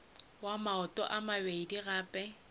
wa maoto a mabedi gape